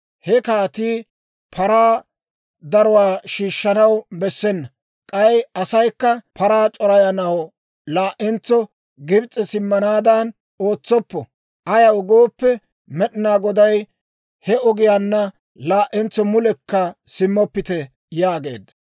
He kaatii paraa daruwaa shiishshanaw bessena; k'ay asaykka paraa c'orayanaw laa"entso Gibs'e simmanaadan ootsoppo. Ayaw gooppe, Med'inaa Goday, ‹He ogiyaanna laa"entso mulekka simmoppite› yaageedda.